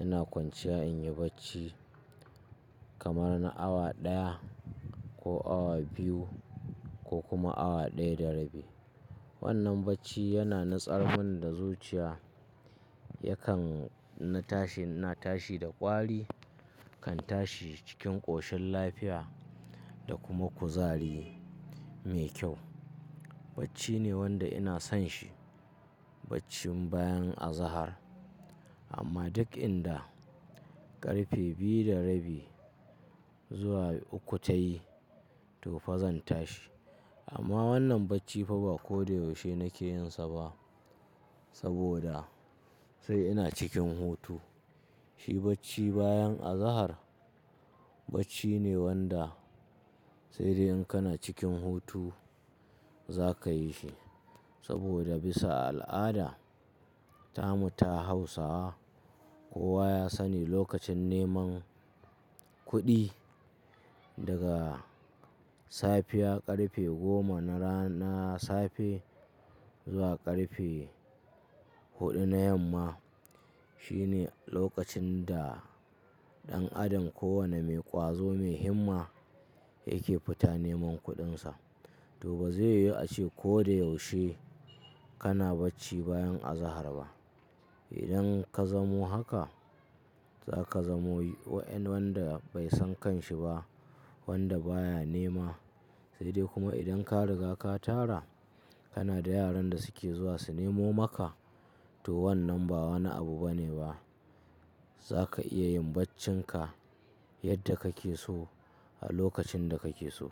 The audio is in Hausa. ina kwanciya in yi bacci kamar na awa ɗaya ko awa biyu ko kuma awa ɗaya da rabi. Wannan bacci yana nitsarmun da zuciya, yakan in na tashi, ina tashi da ƙwari, kan tashi cikin ƙoshin lafiya da kuma kuzari mai kyau. Bacci ne wanda ina son shi, baccin bayan azahar. Amma duk inda ƙarfe biyu da rabi zuwa uku ta yi, to fa zan tashi. Amma wannan bacci fa ba ko da yaushe nake yin sa ba saboda sai ina cikin hutu. Shi bacci bayan azahar bacci ne wanda sai dai in kana cikin hutu za ka yi shi. Saboda bisa al'ada, tamu ta Hausawa, kowa ya sani lokacin neman kuɗi daga safiya ƙarfe goma na rana na safe zuwa ƙarfe huɗu na yamma shine lokacin da ɗan adam ko wane mai ƙwazo mai himma yake fita neman kuɗinsa. To ba zai yiwu a ce ko da yaushe kana bacci bayan azahar ba. Idan ka zamo haka, za ka zamo wanda bai san kanshi ba, wanda baya nema sai dai kuma idan ka riga ka tara, kana da yaran da suke zuwa su nemo maka to wannan ba wani abu bane ba. Za ka iya yin baccinka yadda kake so a lokacin da kake so.